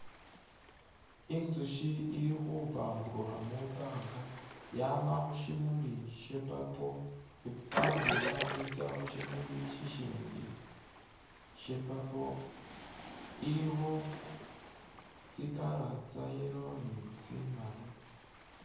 Inzushi ili khupaburukha mwibanga yama khushimuli sha purple i'paburukha i'tsa khushimuli shishindi sha purple ilikho tsi colour tsa yellow ni tsimaali